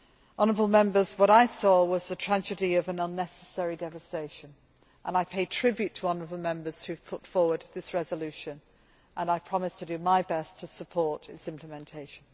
Honourable Members, what I saw was the tragedy of an unnecessary devastation and I pay tribute to the honourable Members who have put forward this resolution and promise to do my best to support its implementation.